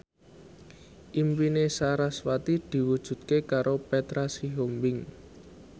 impine sarasvati diwujudke karo Petra Sihombing